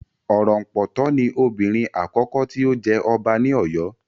Orompoto ni obìnrin àkọ́kọ́ tí ó jẹ ọba ní Oyo